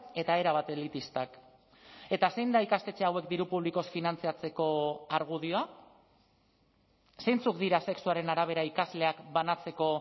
eta erabat elitistak eta zein da ikastetxe hauek diru publikoz finantzatzeko argudioa zeintzuk dira sexuaren arabera ikasleak banatzeko